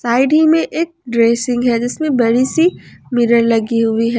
Side ही में एक ड्रेसिंग है जिसमें बड़ी सी मिरर लगी हुई है।